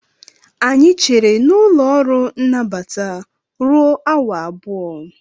Anyị chere n'ụlọ ọrụ nnabata ruo awa abụọ